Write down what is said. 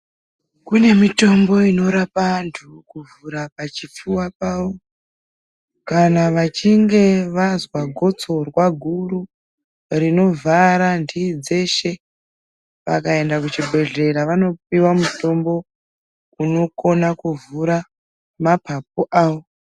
Kune mitombo inorapa antu kuvhura pachipfuva pavo kana vachinge vazwaa gitsorwa guru rinovhara ndii dzeshe vakaenda kuchibhedhlera vanopiwa mutombo unogona kuvhura mapapu avo .